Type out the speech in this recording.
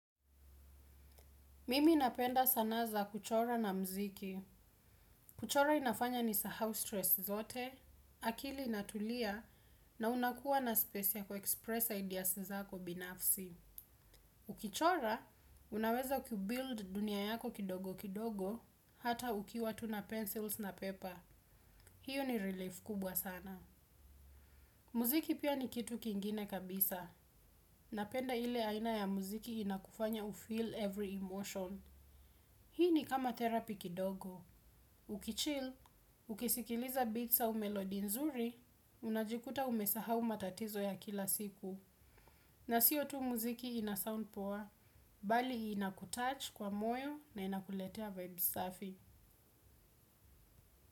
Mimi napenda sanaa za kuchora na mziki. Kuchora inafanya ni sahau stress zote akili inatulia na unakuwa na space ya kuexpress ideas zako binafsi. Ukichora, unaweza ku build dunia yako kidogo kidogo, hata ukiwa tu na pencils na paper. Hiyo ni relief kubwa sana. Mziki pia ni kitu kingine kabisa. Napenda ile aina ya mziki inakufanya ufeel every emotion. Hii ni kama therapy kidogo. Ukichil, ukisikiliza beats au melody nzuri, unajikuta umesahau matatizo ya kila siku. Na siyo tu muziki ina sound poa, bali ina kutouch kwa moyo na ina kuletea vibes safi.